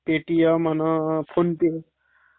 अं PhonePe, Google Pay आणि Paytm...